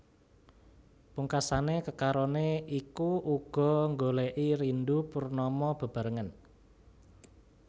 Pungkasané kekaroné iku uga nggolèki Rindu Purnama bebarengan